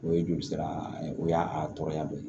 O ye joli sira ye o y'a tɔɔrɔya dɔ ye